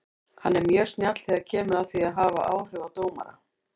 Hann er mjög snjall þegar kemur að því að hafa áhrif á dómara.